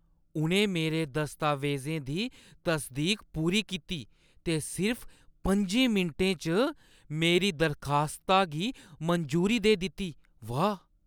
उʼनें मेरे दस्तावेजें दी तसदीक पूरी कीती ते सिर्फ पं'जे मिंटें च मेरी दरखास्ता गी मंजूरी देई दित्ती, वाह् !